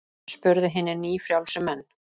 spurðu hinir nýfrjálsu menn.